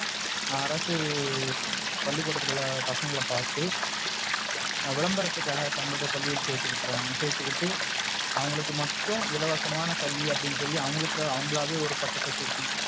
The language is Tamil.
அரசு பள்ளிகூடத்துல உள்ள பசங்கள பாத்து விளம்பரத்துக்காக தங்களோடய பள்ளியில் சேர்த்துவிட்டாங்க. சேர்த்துட்டு அவங்களுக்கு மட்டும் இலவசமாக கல்வி அப்டினு சொல்லி அவங்களுக்கு அவங்களாவே ஒரு பட்டத்த சூட்டி,